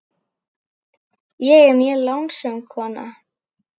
Ég er mjög lánsöm kona.